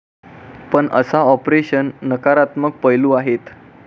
पण अशा ऑपरेशन नकारात्मक पैलू आहेत.